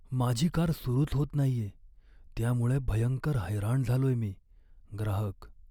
माझी कार सुरूच होत नाहीये त्यामुळं भयंकर हैराण झालोय मी. ग्राहक